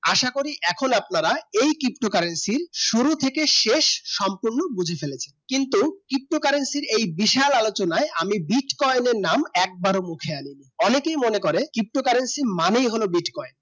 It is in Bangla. আসা করি এখনো আপনারা ptocurrency শুরু থেকে শেষ সম্পূর্ণ বুছে ফেলেছেন কিন্তু ptocurrency এই বিশাল আলোচনাই আমি Bitcoin নাম একবারে মুখে আনিনি অনেকে মনে করে ptocurrency মানেই হলো Bitcoin